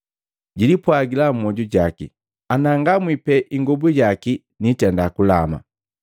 Jilipwagila mmoju jaki, “Anangamwi pe ingobu yaki niitenda, kulama.”